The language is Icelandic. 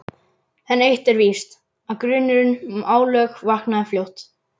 En eitt er víst, að grunurinn um álög vaknaði fljótt.